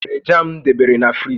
I weere jam m debere na friji?